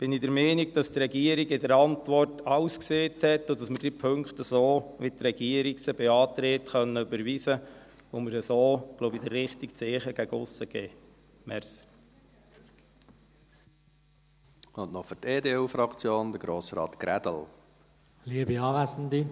Deshalb bin ich der Meinung, dass die Regierung in der Antwort alles gesagt hat und wir diese Punkte so, wie sie die Regierung beantragt, überweisen können und wir so, denke ich, das richtige Zeichen gegen aussen setzen.